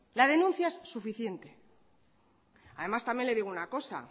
la denuncia es suficiente además también le digo una cosa